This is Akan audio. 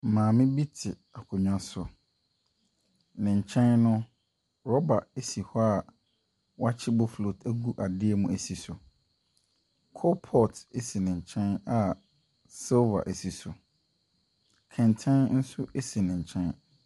Maame bi te akonnwa bi so, ne nkyɛn no, rubber si hɔ a wakye boflot agu ade mu asi so. Coal pot si ne nkyɛn a silver si so. Kɛntɛn nso si ne nkyɛn.